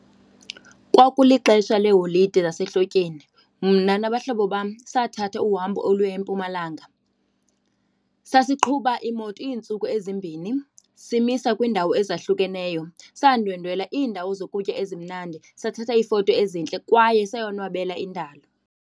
Kwakulixesha leeholide zasehlotyeni, mna nabahlobo sathathatha uhambo oluya eMpumalanga. Sasiqhuba imoto iintsuku ezimbini simisa kwiindawo ezahlukeneyo. Sandwendwela iindawo zokutya ezimnandi sathatha iifoto ezintle kwaye sayonwabela indalo.